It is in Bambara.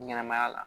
Ɲɛnɛma ya la